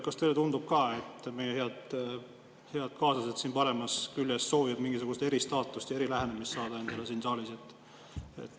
Kas teile tundub ka, et meie head kaaslased siin paremal küljel soovivad saada endale mingisugust eristaatust ja erilähenemist siin saalis?